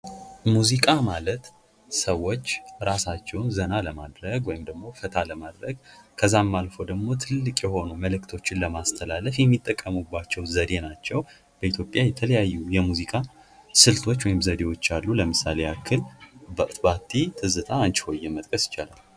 ሙዚቃ ማለት ሰዎች ራሳቸው ዘና ለማድረግ ወይም ፈታ ለማለት ከዛም አልፎ ደግሞ ትልቅ የሆኑ መልዕክቶችን ለማስተላለፍ የሚጠቀሙባቸው ዘዴ ናቸው በኢትዮጵያ የተለያዩ የሙዚቃ ስልቶች ወይም ዘዴዎች አሉ ለምሳሌ ባቲ፤ ትዝታ መጥቀስ እንችላለን።